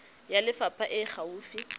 ya lefapha e e gaufi